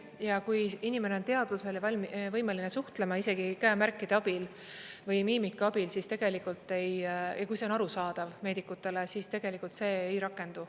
Ja kui inimene on teadvusel ja võimeline suhtlema, isegi käemärkide abil või miimika abil, siis tegelikult … ja kui see on arusaadav meedikutele, siis tegelikult see ei rakendu.